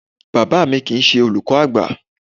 Bàbá mi kìí ṣe olùkọ́ àgbà.